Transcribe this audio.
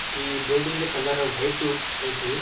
ಈ ಬಿಲ್ಡಿಂಗದು colour white ಆಯ್ತಿ.